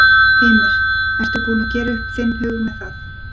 Heimir: Ertu búin að gera upp þinn hug með það?